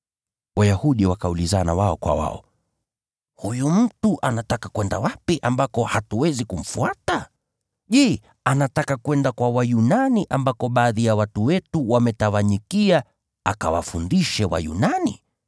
Wayahudi wakaulizana wao kwa wao, “Huyu mtu anataka kwenda wapi ambako hatuwezi kumfuata? Je, anataka kwenda kwa Wayunani ambako baadhi ya watu wetu wametawanyikia, akawafundishe Wayunani?